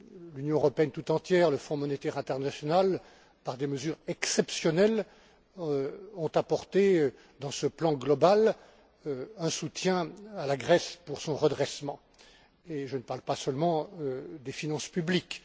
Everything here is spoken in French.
L'Union européenne tout entière, le Fonds monétaire international, par des mesures exceptionnelles, ont apporté dans ce plan global un soutien à la Grèce pour son redressement, et je ne parle pas seulement des finances publiques.